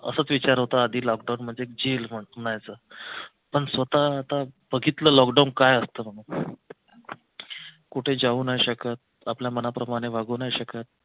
असाच विचार होता आधी लॉकडाऊन म्हणजे jail म्हणायचं पण स्वतः आता बघितलं लॉकडाऊन काय असतं कुठे जाऊ नाही शकत आपल्या मनाप्रमाणे वागू नाही शकत.